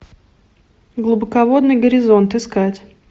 глубоководный горизонт искать